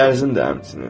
Dərzim də həmçinin.